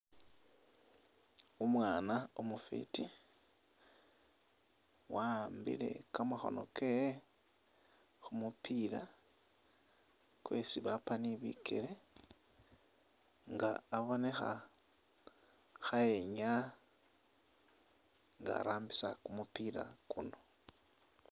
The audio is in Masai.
Umwaana umufwiti wahambile kamakhono kewe khu mupila kwesi bapa ni bikele nga abonekha khayenyaa nga arambisa kumupila kuno.